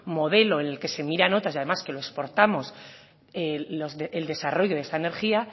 modelo en el que se miren otras y además que lo exportamos el desarrollo de esta energía